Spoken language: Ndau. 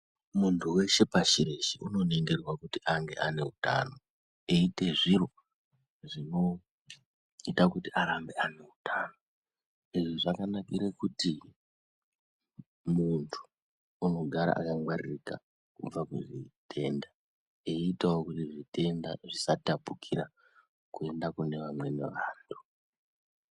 Muntu weshe pashi reshe uno ningirwa kuti ange ane utano eyi ite zviro zvino ita kuti arambe ayine utano izvi zvaka nakire kuti muntu unogara aka ngwaririka kubva ku hutenda eyi itawo kuti zvitenda zvisa tapukira kuenda kune vamweni vantu.